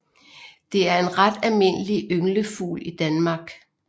Det er en ret almindelig ynglefugl i Danmark